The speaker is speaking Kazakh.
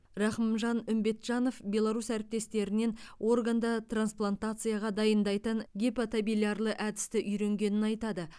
рахымжан үмбетжанов беларус әріптестерінен органды трансплантацияға дайындайтын гепатобилярлы әдісті үйренгенін айтады